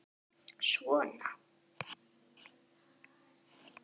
Svona